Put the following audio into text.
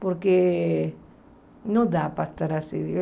Porque não dá para estar assim.